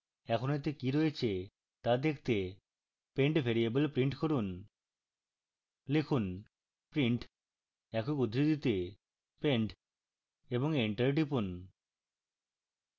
এখন এতে কি রয়েছে তা দেখতে pend ভ্যারিয়েবল print করুন